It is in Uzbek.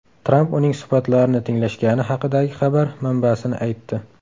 Tramp uning suhbatlarini tinglashgani haqidagi xabar manbasini aytdi.